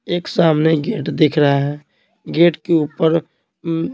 एक सामने गेट दिख रहा है गेट के ऊपर --